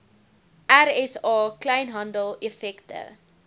rsa kleinhandel effekte